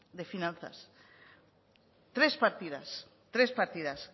de finanzas tres partidas tres partidas